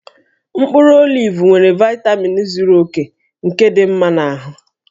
Mkpụrụ olivu nwere vaitamin zuru oke nke dị mma na ahụ